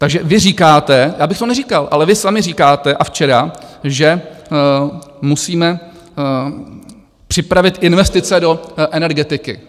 Takže vy říkáte - já bych to neříkal, ale vy sami říkáte, a včera, že musíme připravit investice do energetiky.